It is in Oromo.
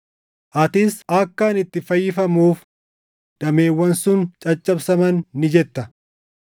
Atis, “Akka ani itti fayyifamuuf dameewwan sun caccabsaman” ni jetta.